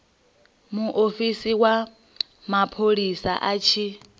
muofisi wa mapholisa a tshi